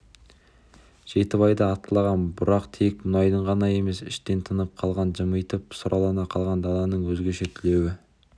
жетібайда атқылаған бұрқақ тек мұнайдың ғана емес іштен тынып құлағын жымитып сұрлана қалған даланың өзгеше түлеуі